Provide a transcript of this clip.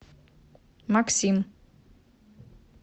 максим